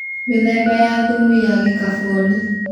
Mĩthemba ya thumu ya gĩkaboni